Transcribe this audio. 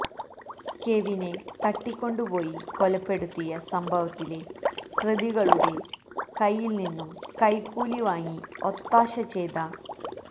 കെവിനെ തട്ടിക്കൊണ്ടുപോയി കൊലപ്പെടുത്തിയ സംഭവത്തിലെ പ്രതികളുടെ കൈയില്നിന്നും കൈക്കൂലി വാങ്ങി ഒത്താശ ചെയ്ത